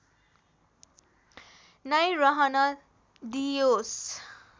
नै रहन दिइयोस्